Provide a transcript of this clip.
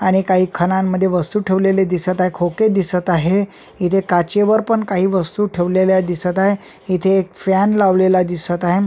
आणि काही खणांमध्ये वस्तू ठेवलेले दिसत आहे खोके दिसत आहे इथे काचेवर पण काही वस्तू ठेवलेल्या दिसत आहे इथे एक फॅन लावलेला दिसत आहे अं --